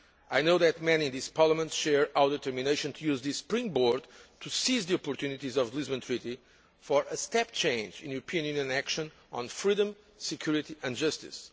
I know that many in this Parliament share our determination to use this springboard to seize the opportunities of the Lisbon Treaty for a step change in European action on freedom, security and justice.